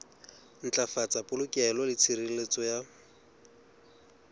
ntlafatsa polokeho le tshireletso ya